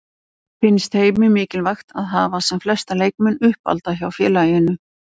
Finnst Heimi mikilvægt að hafa sem flesta leikmenn uppalda hjá félaginu?